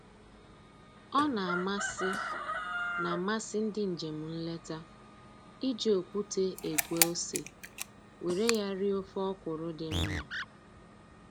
Ọ na-amasị na-amasị ndị njem nleta iji okwute egwe ose were ya rie ofe ọkwụrụ dị mma